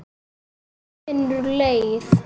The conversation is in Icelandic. Maður finnur leið.